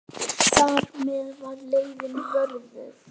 Þar með var leiðin vörðuð.